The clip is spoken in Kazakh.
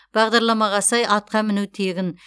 бағдарламаға сай атқа міну тегін